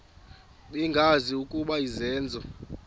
bengazi ukuba izenzo